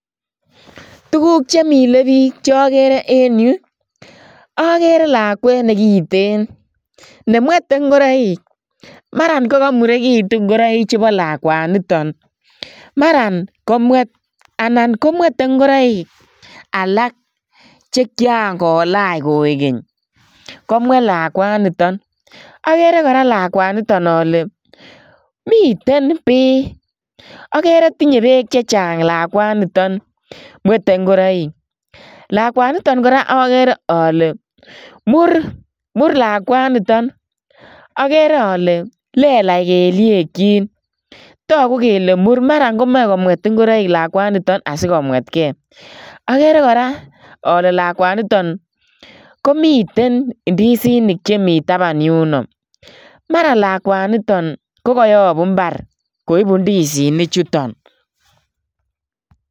Tuguk chemile biik chogere en yu, agere lakwet ne kiten nemwete ngoroik marakokamuregitun ngoroik chupo lakwanito, marakomwet, anan komwete ngoroik alak chekian kolach koegeny komwet lakwaniton. Agere kora lakwaniton ale miten bii, agere tinye beek che chang lakwaniton mwete ngoroik. Lakwanito kora agere ale mur, mur lakwanito. Agere ale lelach kelyekyik. Marakomoe komwet ingoroik lakwanito asikomwetke. Agere kora ale lakwanito, komiten indisinik chemi tapan yuno. Maralakwaniton ko kayapu imbar koipu indisinichuton.